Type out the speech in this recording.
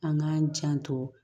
An k'an janto